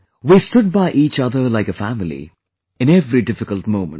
We stood by each other like a family in every difficult moment